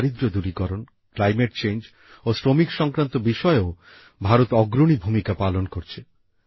দারিদ্র্য দূরীকরণ জলবায়ু পরিবর্তন ও শ্রমিক সংক্রান্ত বিষয়েও ভারত অগ্রণী ভূমিকা পালন করছে